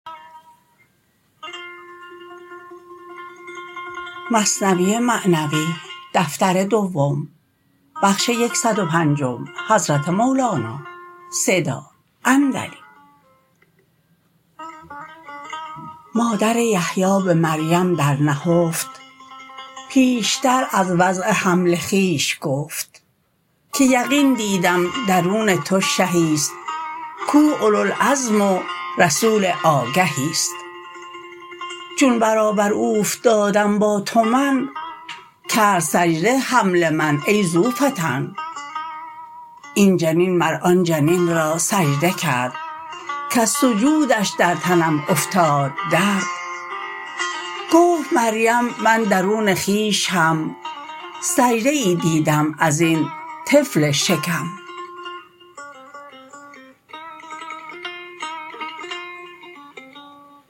مادر یحیی به مریم در نهفت پیشتر از وضع حمل خویش گفت که یقین دیدم درون تو شهیست کو اولوا العزم و رسول آگهیست چون برابر اوفتادم با تو من کرد سجده حمل من ای ذوالفطن این جنین مر آن جنین را سجده کرد کز سجودش در تنم افتاد درد گفت مریم من درون خویش هم سجده ای دیدم ازین طفل شکم